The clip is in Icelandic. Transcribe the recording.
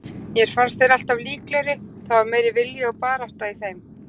Mér fannst þeir alltaf líklegri, það var meiri vilji og barátta í þeim.